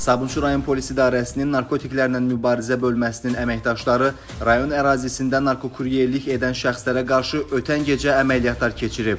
Sabunçu rayon polis idarəsinin narkotiklərlə mübarizə bölməsinin əməkdaşları rayon ərazisində narkokuryerlik edən şəxslərə qarşı ötən gecə əməliyyatlar keçirib.